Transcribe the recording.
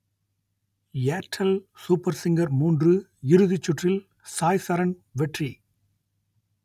Airtel super singer மூன்று இறுதிச்சுற்றில் சாய்சரண் வெற்றி